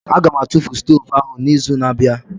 Aga m atụfu stovu ahụ n'izu na-abịa